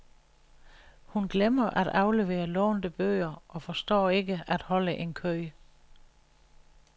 Hun glemmer at aflevere lånte bøger og forstår ikke at holde en kø.